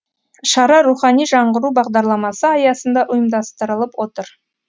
шара рухани жаңғыру бағдарламасы аясында ұйымдастырылып отыр